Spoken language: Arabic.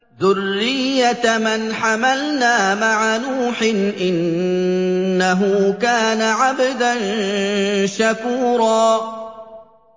ذُرِّيَّةَ مَنْ حَمَلْنَا مَعَ نُوحٍ ۚ إِنَّهُ كَانَ عَبْدًا شَكُورًا